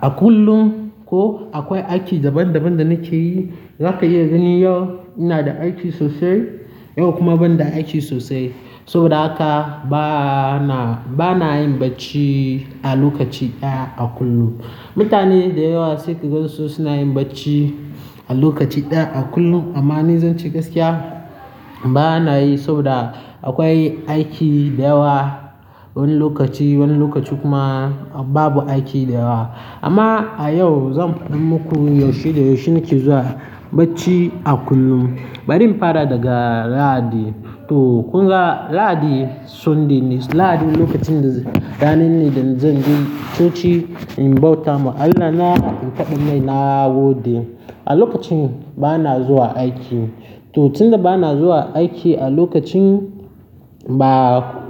a kullum ko akwai aiki daban-daban da nake yi. Zaka iya gani yau ina da aiki sosai, yau kuma ban da aiki sosai. Saboda haka bana, bana yin bacci a lokaci ɗaya a kullum. Mutane da yawa sai ka gansu suna yin bacci a lokaci ɗaya a kullum. Amma ni zance gaskiya bana yi saboda akwai aiki da yawa wani lokaci, wani lokaci kuma babu aiki da yawa. Amma a yau zan faɗa muku yaushe da yaushe nake zuwa bacci a kullum. Bari in fara daga Lahadi. To kunga Lahadi Sunday ne, Lahadi lokacin da rana ne da zanje coci in bauta ma Allah na in faɗa mai nagode. A lokacin bana zuwa aiki. To tun da bana zuwa aiki a lokacin ba.